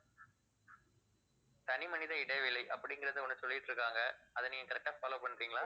தனி மனித இடைவெளி அப்படிங்கிறதை ஒண்ணு சொல்லிட்டு இருக்காங்க அதை நீங்க correct ஆ follow பண்றீங்களா